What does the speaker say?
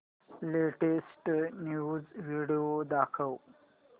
latest news video दाखव